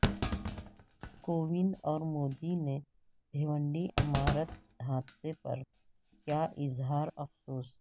کووند اور مودی نے بھیونڈی عمارت حادثے پر کیا اظہار افسوس